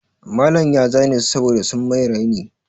Malam ya zane su saboda sun mai raini.